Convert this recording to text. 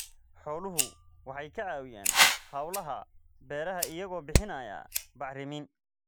Xooluhu waxay ka caawiyaan hawlaha beeraha iyagoo bixinaya bacrimin.